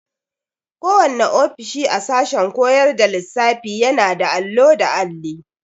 Kowanne ofishi a sashen koyar da lissafiyana da allo da alli.